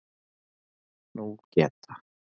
Nú geta